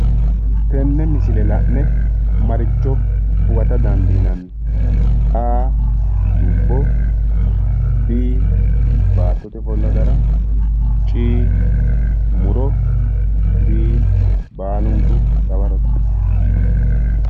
Tenne misile la'ne maricho huwata dandiinanni A. dubbo B. baattote ofolllo gara C. muro D. baalunku dawarote